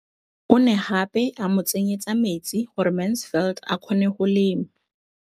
O ne gape a mo tsenyetsa metsi gore Mansfield a kgone go lema.